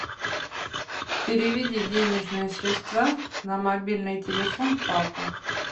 переведи денежные средства на мобильный телефон папа